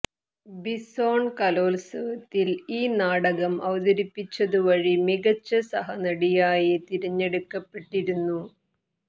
bison കലോത്സവത്തിൽ ഈ നാടകം അവതരിപ്പിച്ചതുവഴി മികച്ച സഹനടിയായി തിരഞ്ഞെടുക്കപ്പെട്ടിരുന്നു